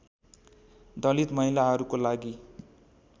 दलित महिलाहरूको लागि